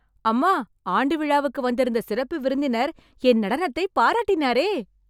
அம்மா, ஆண்டு விழாவுக்கு வந்திருந்த சிறப்பு விருந்தினர், என் நடனத்தை பாராட்டினாரே...